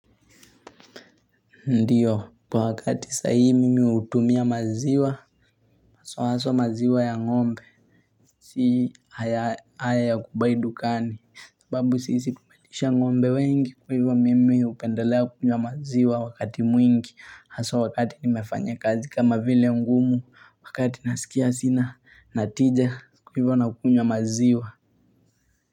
Ndiyo wakati sahii mimi hutumia maziwa aswa maziwa ya ng'ombe si haya ya kubuy dukani sababu sisi tumelisha ng'ombe wengi kwaivo mimi hupendelea kukunywa maziwa wakati mwingi haswa wakati nimefanya kazi kama vile ngumu wakati nasikia sina natija kwaivo nakunywa maziwa.